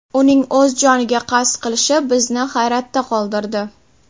Uning o‘z joniga qasd qilishi bizni hayratda qoldirdi.